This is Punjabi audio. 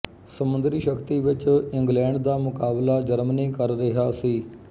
ਸਮੁੰਦਰੀ ਸ਼ਕਤੀ ਵਿੱਚ ਇੰਗਲੈਂਡ ਦਾ ਮੁਕਾਬਲਾ ਜਰਮਨੀ ਕਰ ਰਿਹਾ ਸੀ